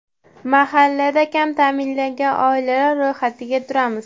Mahallada kam ta’minlangan oilalar ro‘yxatida turamiz.